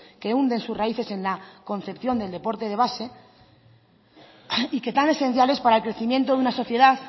que hunde sus raíces en la concepción del deporte de base y que tan esencial es para el crecimiento de una sociedad